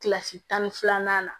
Kilasi tan ni filanan na